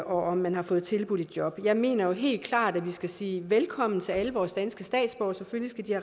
om man har fået tilbudt et job jeg mener helt klart at vi skal sige velkommen til alle vores danske statsborgere selvfølgelig skal de